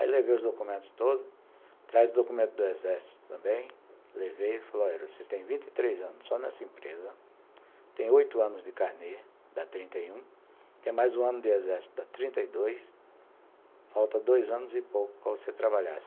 Aí, levei os documentos todos, traz o documento do exército também, levei e falou, olha, você tem vinte anos só nessa empresa, tem oito anos de carnê, dá trinta, tem mais um ano de exército, dá trinta e dois, falta dois anos e pouco para você trabalhar.